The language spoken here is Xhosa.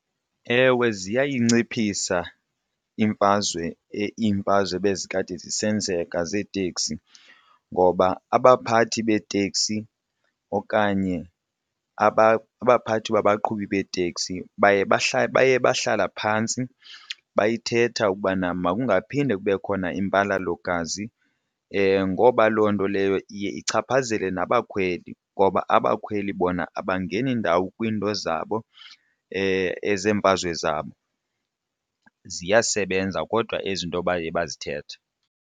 Ewe, ziyayinciphisa imfazwe iimfazwe bezikade zisenzeka zeeteksi ngoba abaphathi beeteksi okanye abaphathi babaqhubi beeteksi baye baye bahlala phantsi beyithetha ukubana makungaphinde kube khona impalalo-gazi ngoba loo nto leyo iye ichaphazele nabakhweli ngoba abakhweli bona abangeni ndawo kwiinto zabo ezeemfazwe zabo. Ziyasebenza kodwa ezi nto baye bazithethe.